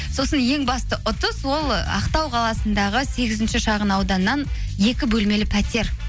сосын ең басты ұтыс ол ақтау қаласындағы сегізінші шағын ауданнан екі бөлмелі пәтер